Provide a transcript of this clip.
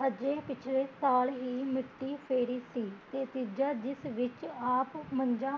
ਹਜੇ ਪਿਛਲੇ ਸਾਲ ਹੀਂ ਮਿੱਟੀ ਫੇਰੀ ਸੀ ਤੇ ਤੀਜਾ ਜਿਸ ਵਿੱਚ ਆਪ ਮੰਜੀ